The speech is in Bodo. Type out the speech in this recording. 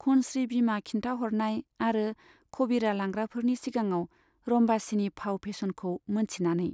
खनस्री बिमा खिन्थाहरनाय आरो खबिरा लांग्राफोरनि सिगाङाव रम्बासीनि फाव फेसनखौ मोनथिनानै।